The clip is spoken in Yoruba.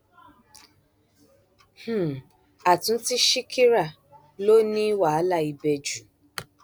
um àtúntí ṣíkírà ló ní wàhálà ibẹ jù